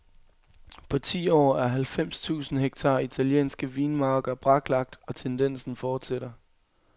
På ti år er halvfems tusind hektar italienske vinmarker braklagt, og tendensen fortsætter.